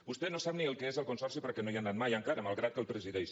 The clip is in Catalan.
vostè no sap ni el que és el consorci perquè no hi ha anat mai encara malgrat que el presideix